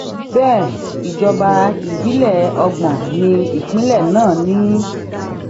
bẹẹ ìjọba ìbílẹ ọgbọn ní ìpínlẹ náà ni